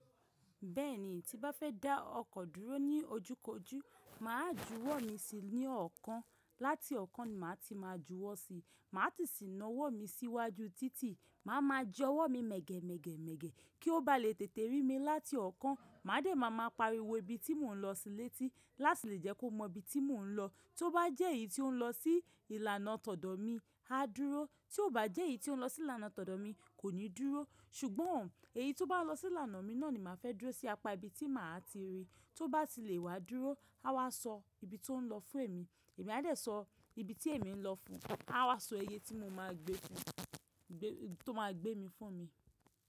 Bẹ́ẹ̀ni, tí bá fẹ́ dá ọkọ̀ dúró ní ojúkojú, mà á jú ọwọ́ mi síi ní ọ̀kan, láti ọ̀kan ni mà á ti máa jú ọwọ́ síi, mà á tìí sìnna ọwọ́ mi sí iwájú títí, mà á máa jọ ọwọ́ mi mẹ̀gẹ̀ mẹ̀gẹ̀ mẹ̀gẹ̀ kí ó bá lè tètè rí mi láti ọ̀kan. Mà á dẹ̀ máa ma pariwo ibi tí mò ń lọ síi létí láti lè jẹ́ kó mọ ibi tí mò ń lọ. Tó bá jẹ́ èyí tí ó ń lọ sí ìlànà tọ̀dọ̀ mi, á dúró. Tí ò bá jẹ́ èyí tí ó ń lọ sí ìlànà tọ̀dọ̀ mi, kò ní dúró. Ṣùgbọ́n èyí tó bá lọ sí ìlànà mi náà ni mà á fẹ́ dúró sí apá ibi tí mà á ti rí. Tó bá ti lè wá dúró, á wá sọ ibi tó ń lọ fún èmi. Èmi a dẹ̀ sọ ibi tí èmi ń lọ fún un. A á wá sọ iye tí mo máa gbé fún, tó máa gbé mi fún mi.